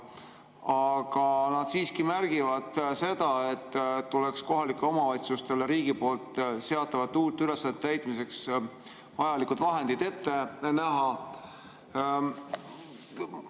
Aga nad siiski märgivad, et tuleks kohalikele omavalitsustele riigi seatavate uute ülesannete täitmiseks vajalikud vahendid ette näha.